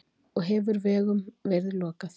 Og hefur vegum verið lokað